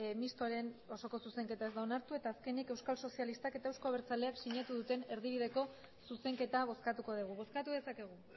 mistoaren osoko zuzenketa ez da onartu eta azkenik euskal sozialistak eta euzko abertzaleak sinatu duten erdibideko zuzenketa bozkatuko dugu bozkatu dezakegu